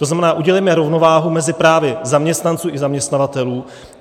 To znamená, udělejme rovnováhu mezi právy zaměstnanců i zaměstnavatelů.